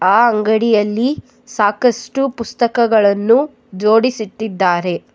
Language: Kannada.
ಆ ಅಂಗಡಿಯಲ್ಲಿ ಸಾಕಷ್ಟು ಪುಸ್ತಕಗಳನ್ನು ಜೋಡಿಸಿಟ್ಟಿದ್ದಾರೆ.